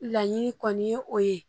Laɲini kɔni ye o ye